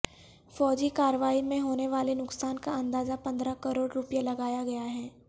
فوجی کارروائی میں ہونے والے نقصان کا اندازہ پندرہ کروڑ روپے لگایا گیا ہے